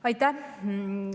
Aitäh!